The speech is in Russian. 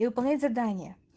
и выполнять задание